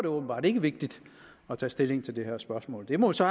åbenbart ikke vigtigt at tage stilling til det her spørgsmål det må så